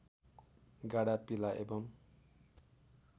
गाढा पीला एवं